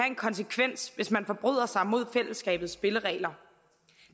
en konsekvens hvis man forbryder sig mod fællesskabets spilleregler